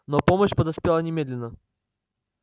но помощь подоспела немедленно